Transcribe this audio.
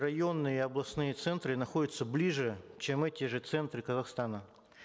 районные и областные центры находятся ближе чем эти же центры казахстана